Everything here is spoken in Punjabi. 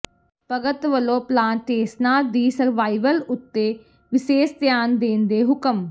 ਭਗਤ ਵੱਲੋਂ ਪਲਾਂਟੇਸਨਾਂ ਦੀ ਸਰਵਾਈਵਲ ਉੱਤੇ ਵਿਸੇਸ ਧਿਆਨ ਦੇਣ ਦੇ ਹੁਕਮ